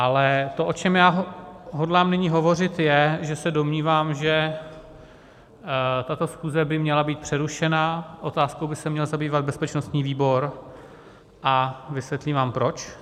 Ale to, o čem já hodlám nyní hovořit, je, že se domnívám, že tato schůze by měla být přerušena, otázkou by se měl zabývat bezpečnostní výbor a vysvětlím vám proč.